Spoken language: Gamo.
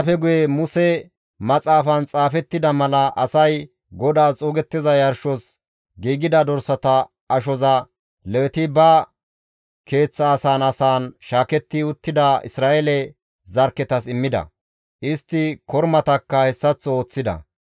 Hessafe guye Muse maxaafan xaafettida mala asay GODAAS xuugettiza yarshos giigida dorsata ashoza Leweti ba keeththa asan asan shaaketti uttida Isra7eele zarkketas immida; istti kormatakka hessaththo ooththida.